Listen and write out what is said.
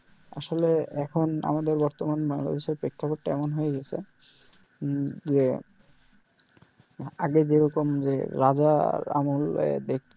আসলে এখন আমাদের বর্তমান বাংলাদেশ এর প্রেক্ষাপট টা এমন হয়ে গেছে যে আগে যে রকম যে রাজার আমল এ